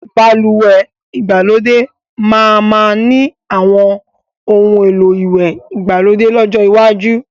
Balùwẹ́ ìgbàlódé máa ma ni àwọn oun èlò ìwẹ̀ ìgbàlódé lọ́jọ́ iwájú